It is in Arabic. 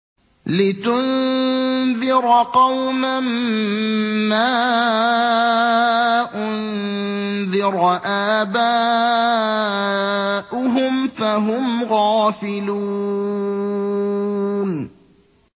لِتُنذِرَ قَوْمًا مَّا أُنذِرَ آبَاؤُهُمْ فَهُمْ غَافِلُونَ